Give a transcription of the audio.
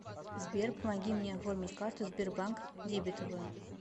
сбер помоги мне оформить карту сбербанк дебетовую